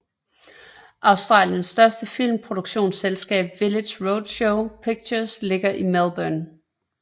Australiens største filmproduktionsselskab Village Roadshow Pictures ligger i Melbourne